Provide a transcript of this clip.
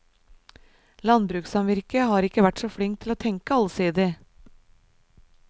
Landbrukssamvirket har ikke vært så flink til å tenke allsidig.